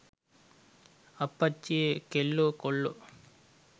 අප්පච්චියේ කෙල්ලො කොල්ලො